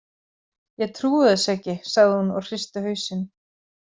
Ég trúi þessu ekki, sagði hún og hristi hausinn.